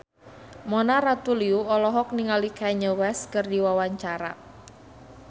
Mona Ratuliu olohok ningali Kanye West keur diwawancara